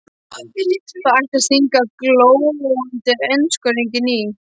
Það ætti að stinga glóandi eldskörungnum í.